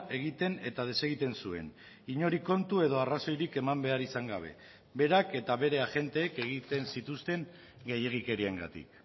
egiten eta desegiten zuen inori kontu edo arrazoirik eman behar izan gabe berak eta bere agenteek egiten zituzten gehiegikeriengatik